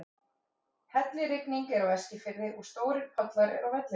Hellirigning er á Eskifirði og stórir pollar eru á vellinum.